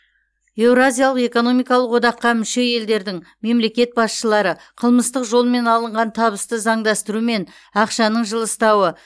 еуразиялық экономикалық одаққа мүше елдердің мемлекет басшылары қылмыстық жолмен алынған табысты заңдастырумен ақшаның жылыстауы